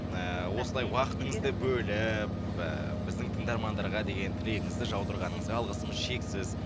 ыыы осылай уақытыңызды бөліп ы біздің тыңдармандарға деген тілегіңізді жаудырғаныңызға алғысымыз шексіз